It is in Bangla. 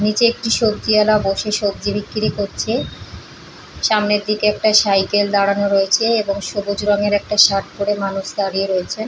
নিচে একটি সবজিওয়ালা বসে সবজি বিক্রি করছে সামনের দিকে একটা সাইকেল দাঁড়ানো রয়েছে এবং সবুজ রঙের শার্ট একটা পড়ে মানুষ দাঁড়িয়ে রয়েছে।